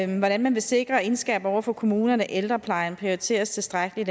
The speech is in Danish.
man vil sikre og indskærpe over for kommunerne at ældreplejen prioriteres tilstrækkeligt